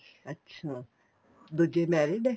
ਅੱਛਾ ਦੂਜੇ married ਏ